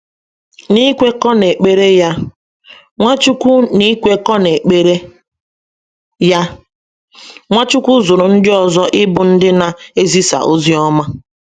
N’ikwekọ n’ekpere ya, Nwachukwu N’ikwekọ n’ekpere ya, Nwachukwu zụrụ ndị ọzọ ịbụ ndị na - ezisa ozi ọma.